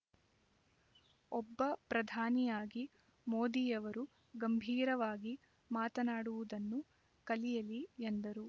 ಒಬ್ಬ ಪ್ರಧಾನಿಯಾಗಿ ಮೋದಿಯವರು ಗಂಭೀರವಾಗಿ ಮಾತನಾಡುವುದನ್ನು ಕಲಿಯಲಿ ಎಂದರು